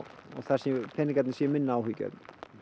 peningarnir séu minna áhyggjuefni